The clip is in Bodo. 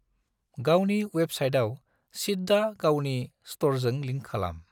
गावनि वेबसाइटआव सिद्दा गावनि स्टोरजों लिंक खालाम।